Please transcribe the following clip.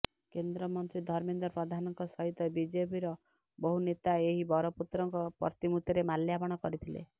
କେନ୍ଦ୍ରମନ୍ତ୍ରୀ ଧର୍ମେନ୍ଦ୍ର ପ୍ରଧାନଙ୍କ ସହିତ ବିଜେପିର ବହୁ ନେତା ଏହି ବରପୁତ୍ରଙ୍କ ପ୍ରତିମୂର୍ତ୍ତିରେ ମାଲ୍ୟାର୍ପଣ କରିଥିଲେ